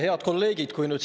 Head kolleegid!